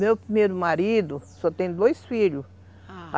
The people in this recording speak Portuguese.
Meu primeiro marido só tem dois filhos, ah